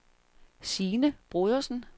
Sine Brodersen